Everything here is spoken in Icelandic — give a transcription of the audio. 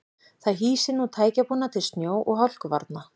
Það hýsir nú tækjabúnað til snjó og hálkuvarna.